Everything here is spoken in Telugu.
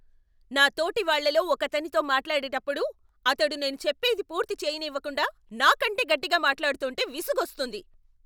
నా తోటివాళ్ళలో ఒకతనితో మాట్లాడేటప్పుడు అతడు నేను చెప్పేది పూర్తి చెయ్యనివ్వకుండా, నా కంటే గట్టిగా మాట్లాడుతుంటే విసుగోస్తుంది.